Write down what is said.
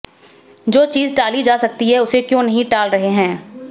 जो चीज़ टाली जा सकती है उसे क्यों नहीं टाल रहे हैं